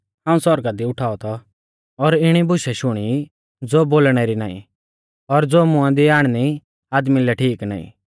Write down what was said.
कि हाऊं सौरगा दी उठाऔ थौ और इणी बुशै शुणी ज़ो बोलणै री नाईं और ज़ो मुंआ दी आणनी आदमी लै ठीक नाईं